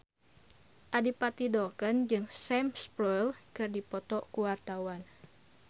Adipati Dolken jeung Sam Spruell keur dipoto ku wartawan